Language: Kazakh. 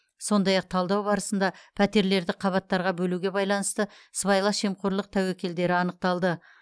сондай ақ талдау барысында пәтерлерді қабаттарға бөлуге байланысты сыбайлас жемқорлық тәуекелдері анықталды